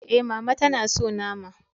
E, Mama ta na so nama.